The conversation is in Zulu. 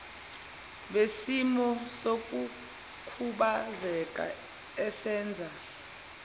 besimo sokukhubazeka esenza